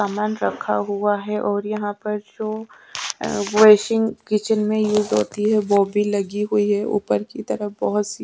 सामान रखा हुआ है और यहां पर शो अह किचन में युज होती है वो भी लगी हुई है ऊपर की तरफ बहुत सी--